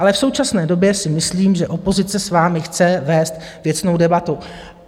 Ale v současné době si myslím, že opozice s vámi chce vést věcnou debatu.